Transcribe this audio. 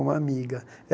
Uma amiga. Eh